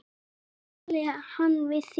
Hvenær talaði hann við þig?